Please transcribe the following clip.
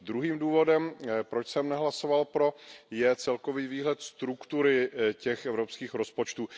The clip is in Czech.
Druhým důvodem, proč jsem nehlasoval pro, je celkový výhled struktury těch evropských rozpočtů.